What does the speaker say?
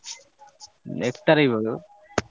ଏକ ତାରିଖ ବେଳୁ।